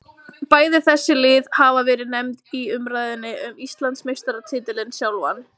Bæði þessi lið hafa verið nefnd í umræðunni um Íslandsmeistaratitilinn sjálfan.